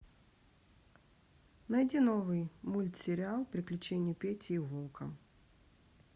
найди новый мультсериал приключения пети и волка